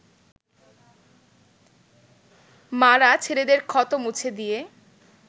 মা’রা ছেলেদের ক্ষত মুছে দিয়ে